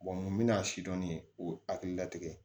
n bɛn'a si dɔɔni u ye hakili latigɛ